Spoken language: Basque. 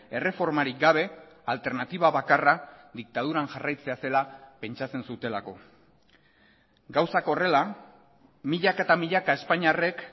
erreformarik gabe alternatiba bakarra diktaduran jarraitzea zela pentsatzen zutelako gauzak horrela milaka eta milaka espainiarrek